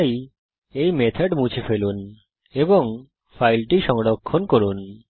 তাই এই মেথড মুছে ফেলুন এবং ফাইলটি সংরক্ষণ করুন